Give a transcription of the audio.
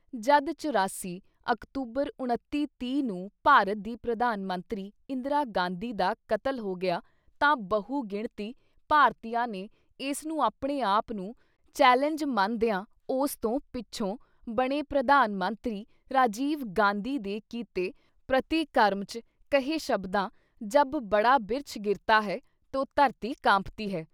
ਜਦ ਚੁਰਾਸੀ ਅਕਤੂਬਰ ਉਣੱਤੀ ਤੀਹ ਨੂੰ ਭਾਰਤ ਦੀ ਪ੍ਰਧਾਨ ਮੰਤਰੀ ਇੰਦਰਾ ਗਾਂਧੀ ਦਾ ਕਤਲ ਹੋ ਗਿਆ ਤਾਂ ਬਹੁ ਗਿਣਤੀ ਭਾਰਤੀਆਂ ਨੇ ਇਸਨੂੰ ਆਪਣੇ ਆਪ ਨੂੰ ਚੈਲੰਜ ਮੰਨਦਿਆਂ ਉਸ ਤੋਂ ਪਿੱਛੋਂ ਬਣੇ ਪ੍ਰਧਾਨ ਮੰਤਰੀ ਰਾਜੀਵ-ਗਾਂਧੀ ਦੇ ਕੀਤੇ ਪ੍ਰਤੀਕਰਮ ‘ਚ ਕਹੇ ਸ਼ਬਦਾਂ ‘ਜਬ ਬੜਾ ਬਿਰਛ ਗਿਰਤਾ ਹੈ ਤੋ ਧਰਤੀ ਕਾਂਪਤੀ ਹੈ।’